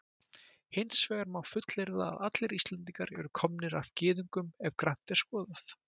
Hins vegar má fullyrða að allir Íslendingar eru komnir af Gyðingum ef grannt er skoðað.